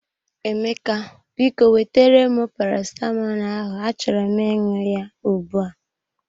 Emeka, biko wetere m paracetamolu ahụ achọrọ m ịṅụ ya ugbu a.